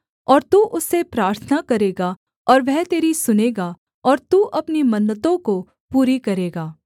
और तू उससे प्रार्थना करेगा और वह तेरी सुनेगा और तू अपनी मन्नतों को पूरी करेगा